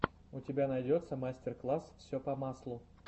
у тебя найдется мастер класс все по маслу